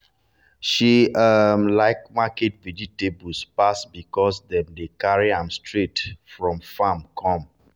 she um like market vegetable pass because dem dey carry am straight from farm come.